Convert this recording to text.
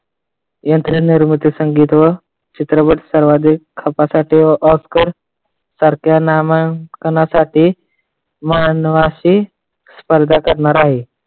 यंत्र निर्मितीसाठी चित्रपट सर्वाधिक खपासाठी oscar सारख्या नामांकनासाठी मानवाशी स्पर्धा करणार आहे.